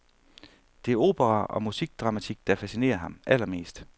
Det er opera og musikdramatik, der fascinerer ham allermest.